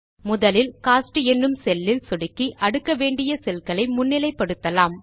முதலில் கோஸ்ட் என்னும் செல் இல் சொடுக்கி அடுக்க வேண்டிய செல்களை முன்னிலை படுத்தலாம்